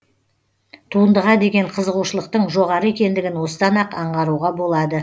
туындыға деген қызығушылықтың жоғары екендігін осыдан ақ аңғаруға болады